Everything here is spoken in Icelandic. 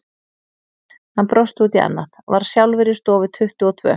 Hann brosti út í annað, var sjálfur í stofu tuttugu og tvö.